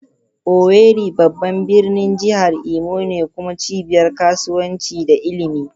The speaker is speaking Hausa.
Owerri babban birnin jihar Imo ne kuma cibiyar kasuwanci da ilimi.